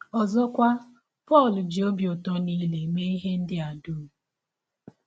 Ọzọkwa, Pọl ji ọbi ụtọ nile mee ihe a dụm.